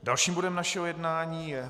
Dalším bodem našeho jednání je